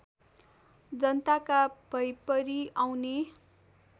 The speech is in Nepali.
जनताका भैपरि आउने